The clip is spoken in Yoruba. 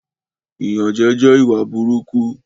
Ìyànjẹ jẹ ìwà burúkú